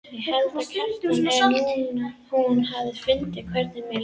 Ég held, Kjartan, að hún hafi fundið hvernig mér leið.